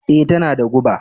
Ee, tana da guba